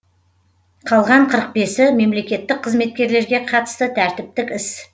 қалған қырық бесі мемлекеттік қызкеткерлерге қатысты тәртіптік іс